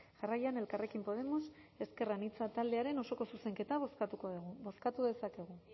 jarraian elkarrekin podemos ezker anitza taldearen osoko zuzenketa bozkatuko dugu bozkatu dezakegu